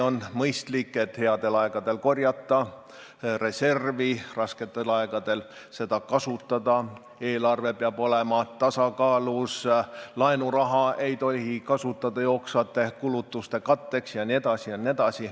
On mõistlik headel aegadel koguda reservi, rasketel aegadel seda kasutada, eelarve peab olema tasakaalus, laenuraha ei tohi kasutada jooksvate kulutuste katteks jne.